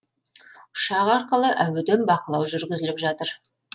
ұшақ арқылы әуеден бақылау жүргізіліп жатыр